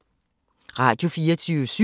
Radio24syv